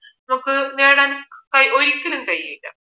നമുക്ക് നേടാൻ ഒരിക്കലും കഴിയില്ല